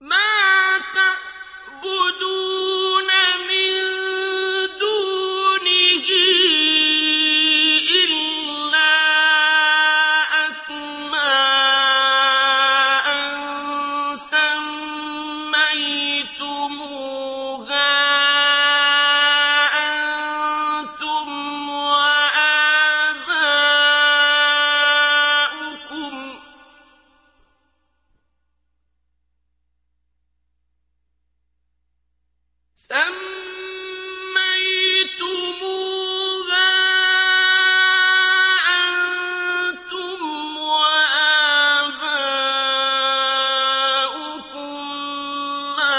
مَا تَعْبُدُونَ مِن دُونِهِ إِلَّا أَسْمَاءً سَمَّيْتُمُوهَا أَنتُمْ وَآبَاؤُكُم مَّا